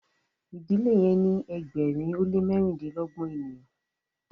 idile yen ni ẹgbẹrin o le mẹrindilọgbọn ènìyàn